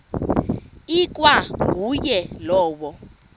ikwa nguye lowo